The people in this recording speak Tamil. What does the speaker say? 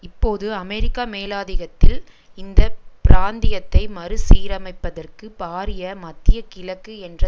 இப்போது அமெரிக்க மேலாதிகத்தில் இந்த பிராந்தியத்தை மறுசீரமைப்பதற்கு பாரிய மத்தியகிழக்கு என்ற